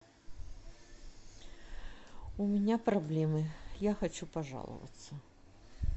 у меня проблемы я хочу пожаловаться